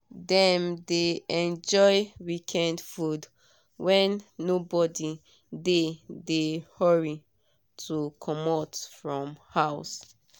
dem dey enjoy weekend food when nobody dey dey hurry to comot from house.